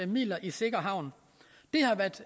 midler i sikker havn det har været